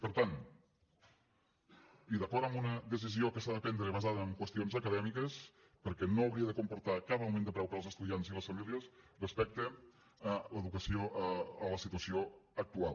per tant i d’acord amb una decisió que s’ha de prendre basada en qüestions acadèmiques perquè no hauria de comportar cap augment de preu per als estudiants i les famílies respecte a l’educació en la situació actual